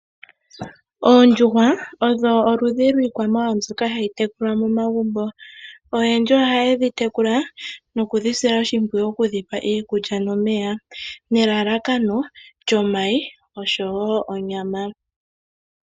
Oondjuhwa odho oludhi lwiikwamawawa mbyoka hayi tekulwa momagumbo. Oyendji oha yedhi yekula nokudhisila oshipwiyu oku dhipa iikulya nomeya, nelalakano lyomayi oshowo onyama.